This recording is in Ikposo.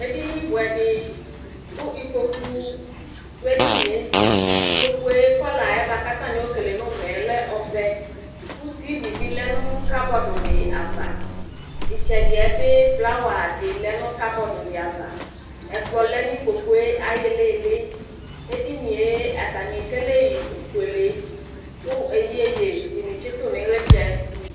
ɛdini bʋɛdi kʋ ikpɔkʋ dʋ ɛdiniɛ, ikpɔkʋɛ colorɛ kʋ atani ɛkɛlɛ nʋ ʋmɛ lɛ ɛvɛ kʋ TV bi lɛnʋ cupboard di aɣa, itsɛdiɛ bi flower di lɛnʋ cupboardi aɣa, ɛkplɔ lɛnʋ ikpɔkʋɛ ayi ilili, ɛdiniɛ atani ɛkɛlɛyi ɔƒʋɛlɛ kʋ ɛyɛyɛ di tsitʋ nʋ ilitsɛ